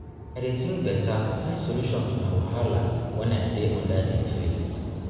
i dey tink beta find solution to my wahala wen i dey under di tree.